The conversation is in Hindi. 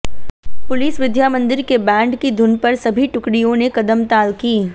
पुलिस विद्या मन्दिर के बैंड की धुन पर सभी टुकडिय़ों ने कदमताल की